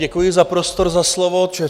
Děkuji za prostor, za slovo.